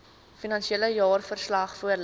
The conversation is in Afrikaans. finansiële jaarverslag voorlê